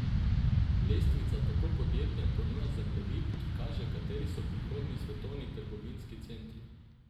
Lestvica tako podjetjem ponuja zemljevid, ki kaže, kateri so prihodnji svetovni trgovinski centri.